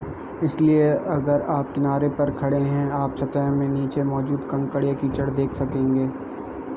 इसलिए अगर आप किनारे पर खड़े हैं आप सतह में नीचे मौजूद कंकड़ या कीचड़ देख सकेंगे